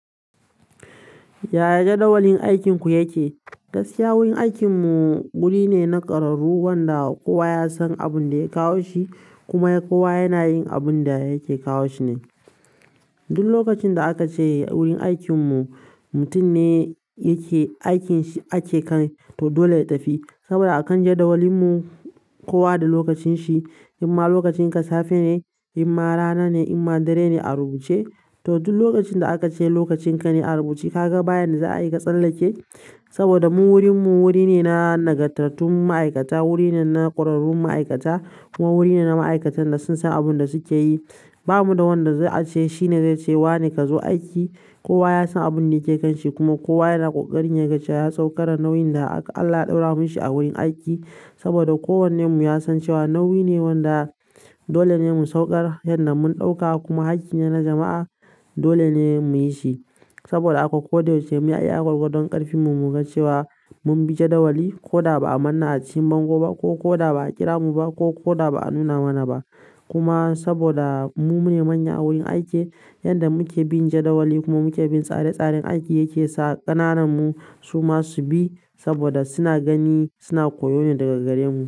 Yaya jadawalin aikinku yake? Gaskiya wurin aikinmu wuri ne na ƙararru wanda kowa ya san abin da ya kawo shi kuma kowa yana yin abin da yake kawo shi ne. Duk lokacin da aka ce wurin aikin mu mutum ne yake aikin shi ake kai, to dole ya tafi. Saboda akan jadawalin mu kowa da lokacin shi. Imma lokacinka safe ne, imma rana ne, imma dare ne a rubuce. To duk lokacin da aka ce lokacin ka ne a rubuce ka ga bayan da za a yi ka tsallake. Saboda mu wurin mu wuri ne na nagartattun ma'aikata, wuri ne na ƙwararrun ma'aikata kuma wuri ne na ma'aikatan da sun san abin da suke yi. Ba mu da wanda za'a ce shi ne zai ce wa ne ka zo aiki. Kowa yasan abinda yake kan shi kuma kowa yana kokarin yaga ya saukar da nauyin da Allah ya ɗora mishi a wurin aiki saboda kowanne mu ya san cewa nauyi ne wanda dole ne mu saukar yanda mun ɗauka kuma hakki ne na jama'a. Dole ne mu yi shi. Saboda haka koh da yaushe muyi iya gwargwadon karfin mu muga cewa. Mun bi jadawali ko da ba a manne a cikin bango ba ko ko da ba a kira mu ba ko ko da ba a nuna mana ba. Kuma saboda mu ne manya a wurin aiki, yanda muke bin jadawali kuma muke bin tsare-tsarin aiki yake sa ƙananan mu suma su bi saboda suna gani suna koyo ne daga gare mu.